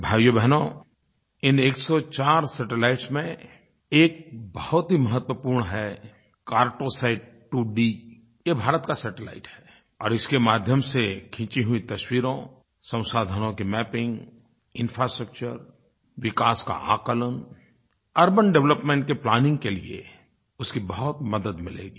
भाइयोबहनो इन 104 सैटेलाइट में एक बहुत ही महत्वपूर्ण है कार्टोसैट 2D ये भारत का सैटेलाइट है और इसके माध्यम से खींची हुई तस्वीरों संसाधनों की मैपिंग इंफ्रास्ट्रक्चर विकास का आकलन अर्बन डेवलपमेंट के प्लानिंग के लिये उसकी बहुत मदद मिलेगी